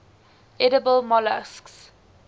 edible molluscs